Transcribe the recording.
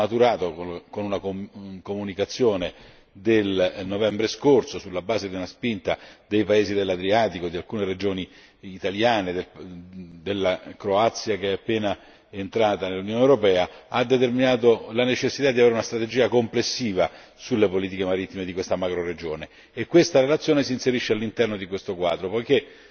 attraverso una comunicazione del novembre scorso, sulla base di una spinta dei paesi dell'Adriatico, di alcune regioni italiane e della Croazia, appena entrata nell'Unione europea ha determinato la necessità di dotarsi di una strategia complessiva sulle politiche marittime di questa macroregione. Questa relazione si inserisce all'interno di questo quadro, poiché